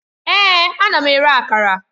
Èè! Ana m ere Akara